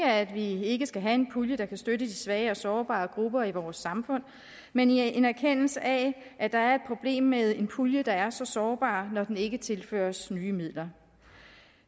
at vi ikke skal have en pulje der kan støtte de svage og sårbare grupper i vores samfund men i en erkendelse af at der er et problem med en pulje der er så sårbar når den ikke tilføres nye midler